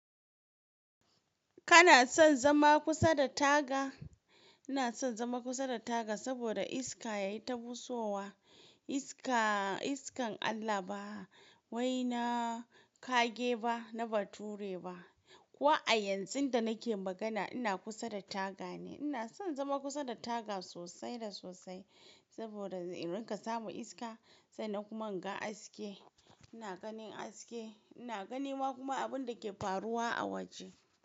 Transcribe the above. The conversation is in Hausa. Kana son zama kusa da taga? Ina son zama kusa da taga saboda iska yayi tabusowa. Iska, iskan Allah ba waina ƙage ba na bature ba. Ko a yanzun da nake magana ina kusa da taga ne. Ina son zama kusa da taga sosai da sosai saboda in riƙa samun iska sannan kuma in ga haske. Ina ganin haske, ina ganima kuma abun da ke faruwa a waje.